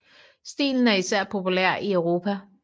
Stilen er især populær i Europa